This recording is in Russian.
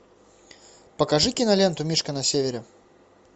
покажи киноленту мишка на севере